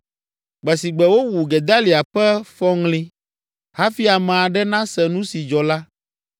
Gbe si gbe wowu Gedalia ƒe fɔŋli, hafi ame aɖe nase nu si dzɔ la,